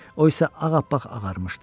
O isə ağappaq ağarmışdı.